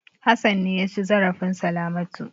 Hassan ne ya ci zarafin Salamatu.